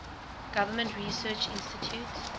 government research institutes